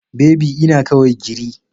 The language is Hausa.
Baby ina kawai giri.